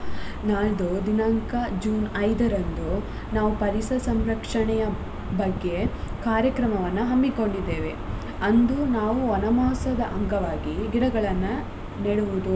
ನಾಳ್ದು ದಿನಾಂಕ ಜೂನ್ ಐದರಂದು ನಾವು ಪರಿಸರ ಸಂರಕ್ಷಣೆಯ ಬಗ್ಗೆ ಕಾರ್ಯಕ್ರಮವನ್ನು ಹಮ್ಮಿಕೊಂಡಿದ್ದೇವೆ ಅಂದು ನಾವು ವನಮಹೋತ್ಸವದ ಅಂಗವಾಗಿ ಗಿಡಗಳನ್ನ ನೆಡುವುದು.